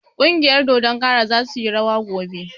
Ƙungiyar dodon kara za suyi rawa gobe